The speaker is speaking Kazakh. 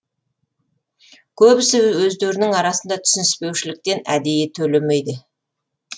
көбісі өздерінің арасында түсініспеушіліктен әдейі төлемейді